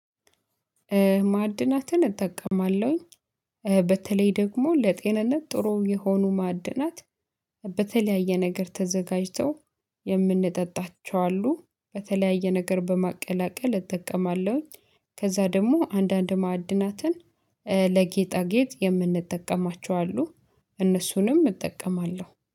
ማዕድናትን እጠቀማለሁኝ። በተለይ ደግሞ ለጤንነት ጥሩ የሆኑ ማዕድናት። በተለያየ ነገር ተዘጋጅተው የምንጠጣቸው አሉ፤ በተለያየ ነገር በማቀላቀል እጠቀማለሁኝ፤። ከዛ ደግሞ አንዳንድ ማዕድናትን ለጌጣጌጥ የምንጠቀማቸው አሉ። እነሱንም እጠቀማለሁ፤